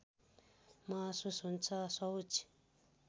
महसूस हुन्छ शौच